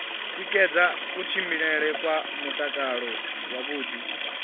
tikedza kutshilele kwa mutakalo wavhuḓi